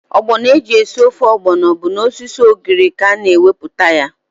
Ọgbọnọ eji esi ofe ọgbọnọ bụ n'osisi ugiri ka a na-enweta ya.